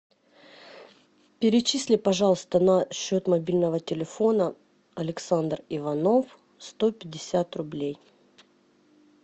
перечисли пожалуйста на счет мобильного телефона александр иванов сто пятьдесят рублей